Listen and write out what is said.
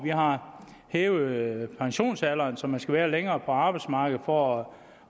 har hævet pensionsalderen så man skal være længere på arbejdsmarkedet for